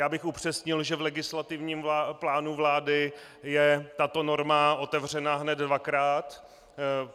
Já bych upřesnil, že v legislativním plánu vlády je tato norma otevřena hned dvakrát.